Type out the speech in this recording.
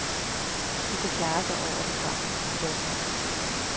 De er klare over den tragiske situation.